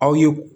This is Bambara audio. Aw ye